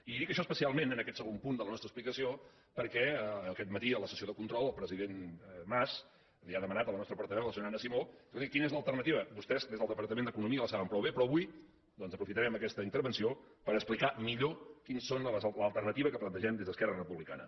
i dic això especialment en aquest segon punt de la nostra explicació perquè aquest matí en la sessió de control el president mas li ha demanat a la nostra portaveu a la senyora anna simó escolti quina és l’alternativa vostès des del departament d’economia la saben prou bé però avui doncs aprofitarem aquesta intervenció per explicar millor quina és l’alternativa que plantegem des d’esquerra republicana